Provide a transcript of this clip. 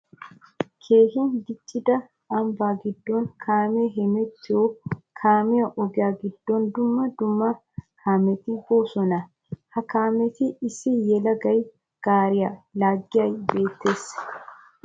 Keehi diccidda ambba gidon kaame hemettiyo kaamiya ogiya gidon dumma dumma kaametti boosonna. Ha kaametti issi yelagay gaariya laagiyage beetes.